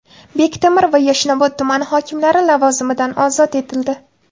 Bektemir va Yashnobod tumani hokimlari lavozimidan ozod etildi.